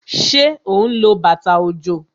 Ṣé ó ń lo bàtà òjò?